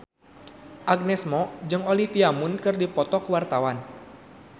Agnes Mo jeung Olivia Munn keur dipoto ku wartawan